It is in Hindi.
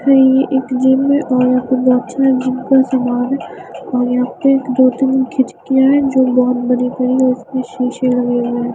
अ ये एक जिम है औ एक बैचलर रूम का समान है ओर यहां पे दो तीन खिचकिया है जो बोहोत बड़ी - बड़ी है औ उसमे शीशे लगे हुए है।